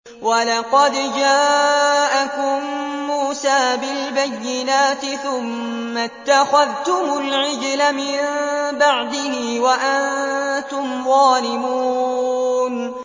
۞ وَلَقَدْ جَاءَكُم مُّوسَىٰ بِالْبَيِّنَاتِ ثُمَّ اتَّخَذْتُمُ الْعِجْلَ مِن بَعْدِهِ وَأَنتُمْ ظَالِمُونَ